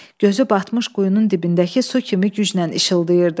Gözü batmış quyunun dibindəki su kimi gücnən işıldayırdı.